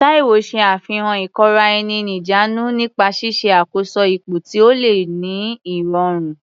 Taiwo ṣe àfihàn ìkóra-ẹni-níjàánu nípa ṣíṣe àkóso ipò tí ó le ní ìrọ̀rùn.